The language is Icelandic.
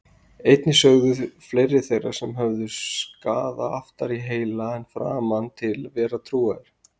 Einnig sögðust fleiri þeirra sem höfðu skaða aftar í heila en framan til vera trúaðir.